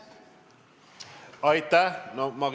Aitäh!